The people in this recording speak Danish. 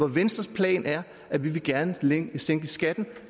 venstres plan er at vi gerne vil sænke skatten